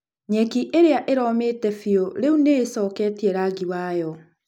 Nyeki ĩrĩa ĩromĩte biũ rĩu nĩ ĩcoketie rangi wayo.